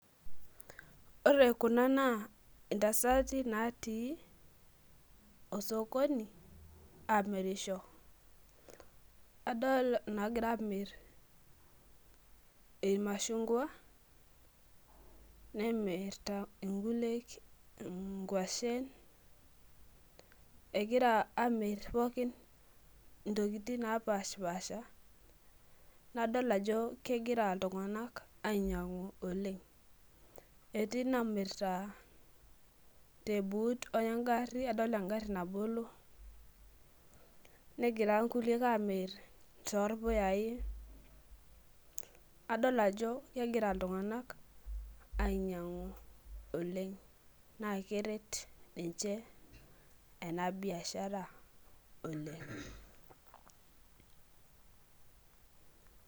ore kuna naa intasati naatii orsokoni aamirisho adolta inagira amir ilmashungwa nemirta ilnkulie inkwashen, egira amir pooki intokitin naapashipasha , nadol ajo kegira iltung'anak ainyang'u oleng' etii inamirta tebuut egari adol egari nabolo negira inkuliek aamir too ilpuyai , adol ajo kegira iltung'anak ainyang'u oleng' naa keret niche ena biashara oleng'.